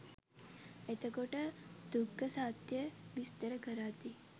එතකොට දුක්ඛ සත්‍යය විස්තර කරද්දී